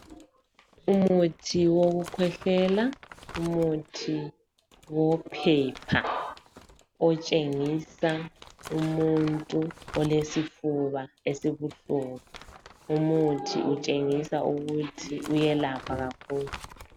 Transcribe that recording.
Umuthi wokukhwehlela umuthi wophepha otshengisa umuntu olesifuba esibuhlungu. Lumuthi utshengisa ukuthi uyelapha kakhulu.